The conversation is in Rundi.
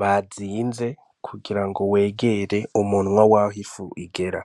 bazinze kugira ngo wegere umunwa w'aho ifu igera.